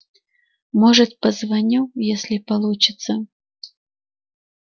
может позвоню если получится